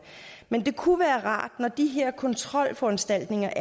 men det kunne være rart med de her kontrolforanstaltninger